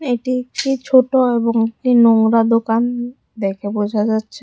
এটি একটি ছোট এবং নোংরা দোকান দেখে বোঝা যাচ্ছে।